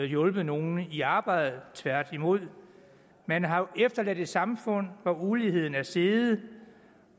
hjulpet nogen i arbejde tværtimod man har jo efterladt et samfund hvor uligheden er steget